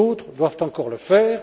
D'autres doivent encore le faire